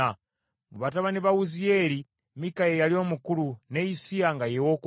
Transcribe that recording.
Mu batabani ba Wuziyeeri, Mikka ye yali omukulu, ne Issiya nga ye wookubiri.